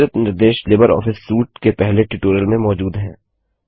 विस्तृत निर्देश LibreOffice suite के पहले ट्यूटोरियल में मौजूद हैं